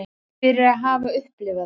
Fyrir að hafa upplifað það.